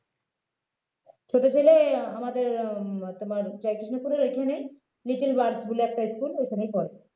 ছোট ছেলে আমাদের উম তোমার . এখানেই little birds বলে একটা school ওইখানেই পরে